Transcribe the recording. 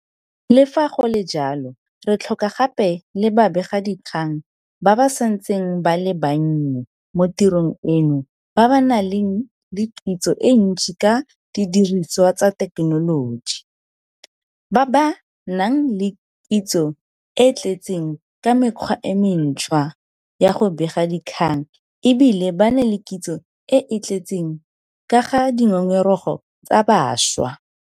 Le fa go le jalo, re tlhoka gape le babegadikgang ba ba santseng ba le bannye mo tirong eno ba ba nang le kitso e ntsi ka didirisiwa tsa thekenoloji, ba ba nang le kitso e e tletseng ka mekgwa e mentšhwa ya go bega dikgang e bile ba na le kitso e e tletseng ka ga dingongorego tsa bašwa.